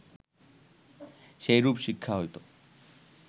সেইরূ্প শিক্ষা হইত